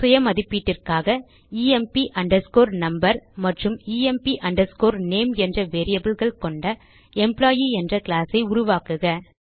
சுய மதிப்பீட்டிற்காக emp underscore number மற்றும் எம்ப் அண்டர்ஸ்கோர் நேம் என்ற variableகள் கொண்ட எம்ப்ளாயி என்ற கிளாஸ் ஐ உருவாக்குக